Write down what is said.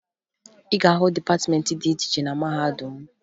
Ị ga-ahụ dịpatịmeentị dị iche iche na mahadum m